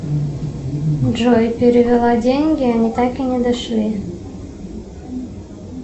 джой перевела деньги они так и не дошли